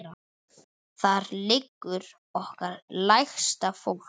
Þar liggur okkar lægsta fólk.